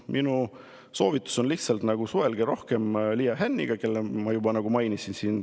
Minu soovitus on lihtsalt see, et suhelge rohkem Liia Hänniga, keda ma juba mainisin.